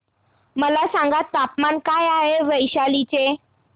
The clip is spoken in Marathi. मला सांगा तापमान काय आहे वैशाली चे